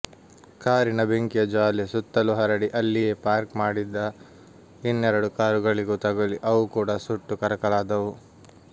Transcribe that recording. ಕಾರಿನ ಬೆಂಕಿಯ ಜ್ವಾಲೆ ಸುತ್ತಲೂ ಹರಡಿ ಅಲ್ಲಿಯೇ ಪಾರ್ಕ್ ಮಾಡಿದ್ದ ಇನ್ನೆರಡು ಕಾರುಗಳಿಗೂ ತಗಲಿ ಅವು ಕೂಡ ಸುಟ್ಟು ಕರಕಲಾದವು